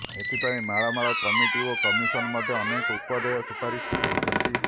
ଏଥିପାଇଁ ମାଳ ମାଳ କମିଟି ଓ କମିଶନ ମଧ୍ୟ ଅନେକ ଉପାଦେୟ ସୁପାରିଶ୍ ଦେଇଛନ୍ତି